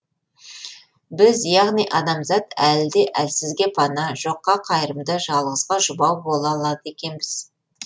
біз яғни адамзат әлі де әлсізге пана жоққа қайырымды жалғызға жұбау бола алады екенбіз